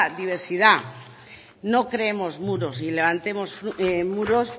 diversidad no creemos muros ni levantemos muros